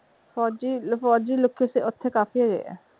ਓਥੇ ਕਾਫੀ ਹੈਗੇ ਆ।